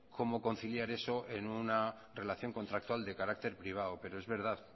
cómo conciliar eso en una relación contractual de carácter privado pero es verdad